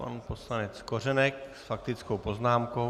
Pan poslanec Kořenek s faktickou poznámkou.